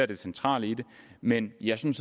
det centrale i det men jeg synes